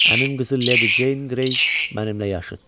Əmim qızı Leydi Ceyn Qrey mənimlə yaşıddır.